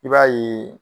I b'a ye